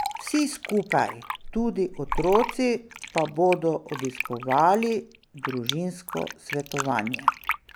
Vsi skupaj, tudi otroci, pa bodo obiskovali družinsko svetovanje.